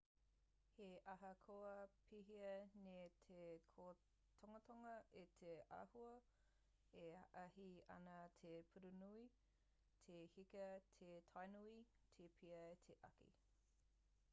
he ahakoa pēhea nei te kōtungatunga o te āhua e āhei ana te pūrununui te heka te tianui te pea te āki